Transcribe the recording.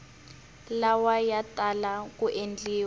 lawa ya tala ku endliwa